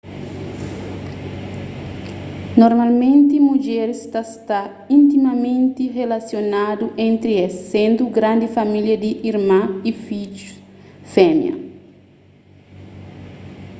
normalmenti mudjeris ta sta intimamenti rilasionadu entri es sendu grandi família di irman y fidjus fémia